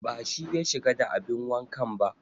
Ba shi ya shiga da abin wankan ba